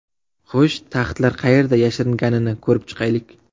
Xo‘sh, taxtlar qayerda yashiringanini ko‘rib chiqaylik!